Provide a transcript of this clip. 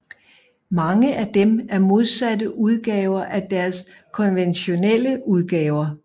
Mange af dem er modsatte udgaver af deres konventionelle udgaver